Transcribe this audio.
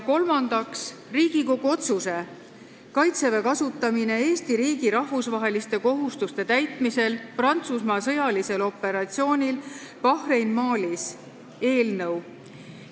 Kolmandaks, Riigikogu otsuse "Kaitseväe kasutamine Eesti riigi rahvusvaheliste kohustuste täitmisel Prantsusmaa sõjalisel operatsioonil Barkhane Malis" eelnõu.